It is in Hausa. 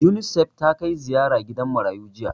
Unisef ta kai ziyara gidan marayu jiya